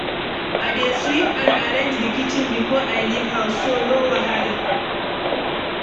I dey sweep and arrange di kitchen before I leave house, so no wahala.